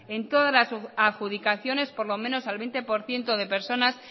en todas las adjudicaciones por lo menos al veinte por ciento de personas